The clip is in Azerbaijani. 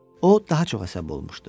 O daha çox əsəbi olmuşdu.